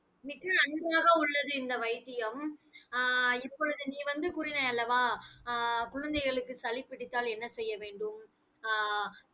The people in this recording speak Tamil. மிக்க நன்றாக உள்ளது, இந்த வைத்தியம். ஆஹ் இப்பொழுது நீ வந்து கூறினாய் அல்லவா ஆஹ் குழந்தைகளுக்கு சளி பிடித்தால் என்ன செய்ய வேண்டும் ஆஹ்